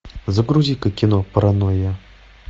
загрузи ка кино паранойя